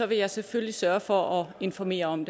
vil jeg selvfølgelig sørge for at informere om